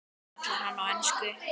kallar hann á ensku.